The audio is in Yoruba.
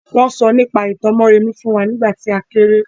Wọ́n sọ nípa ìtàn Mórèmí fún nígbà tí a kéré.